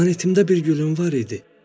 Planetimdə bir gülüm var idi.